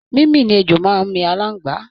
Mímì ni ejò máa ń mi aláǹgbá